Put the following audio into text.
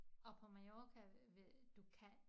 Og på Mallorca du kan